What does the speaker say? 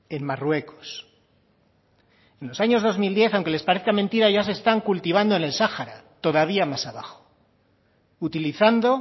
en marruecos en los años dos mil diez aunque les parezca mentira ya se están cultivando en el sahara todavía más abajo utilizando